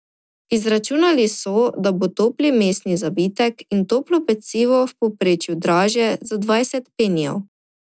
Izračunali so, da bo topli mesni zavitek ali toplo pecivo v povprečju dražje za dvajset penijev.